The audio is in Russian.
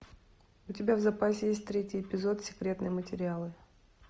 у тебя в запасе есть третий эпизод секретные материалы